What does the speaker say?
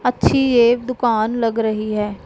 अच्छी है एक दुकान लग रही है।